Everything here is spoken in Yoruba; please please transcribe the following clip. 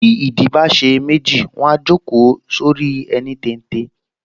Bí ìdí bá ṣe méjì, wọ́n á jókòó sórí ẹní téńté